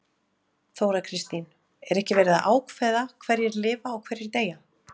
Þóra Kristín: Er ekki verið að ákveða hverjir lifa og hverjir deyja?